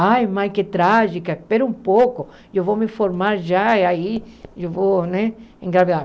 Ai, mãe, que trágica, espera um pouco, eu vou me formar já e aí eu vou, né, engravidar.